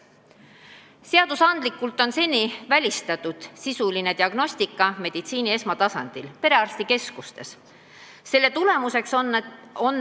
Seadusandlikult on sisuline diagnostika meditsiini esmatasandil perearstikeskustes seni välistatud.